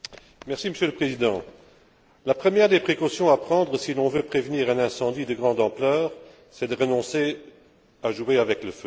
Monsieur le Président, la première des précautions à prendre si l'on veut prévenir un incendie de grande ampleur, c'est de renoncer à jouer avec le feu.